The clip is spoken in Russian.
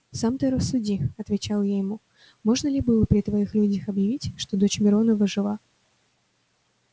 сам ты рассуди отвечал я ему можно ли было при твоих людях объявить что дочь миронова жива